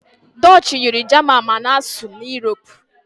Dutchi yiri jaman ma ana-asụ na Europe.